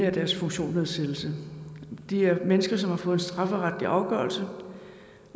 af deres funktionsnedsættelse det er mennesker som har fået en strafferetlig afgørelse